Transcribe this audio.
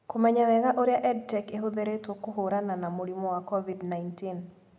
Kũmenya wega ũrĩa EdTech ĩhũthĩrĩtwo kũhũrana na mũrimũ wa COVID-19.